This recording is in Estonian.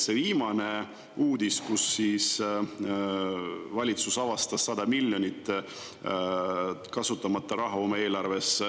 Viimane uudis oli, et valitsus avastas 100 miljonit eurot kasutamata raha oma eelarves.